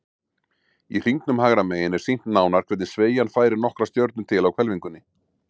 Í hringnum hægra megin er sýnt nánar hvernig sveigjan færir nokkrar stjörnur til á hvelfingunni.